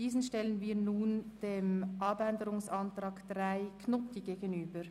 Diese stellen wir nun dem Abänderungsantrag 3 der SVP gegenüber.